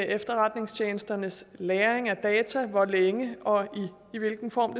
efterretningstjenesternes lagring af data hvor længe og i hvilken form